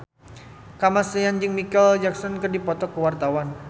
Kamasean jeung Micheal Jackson keur dipoto ku wartawan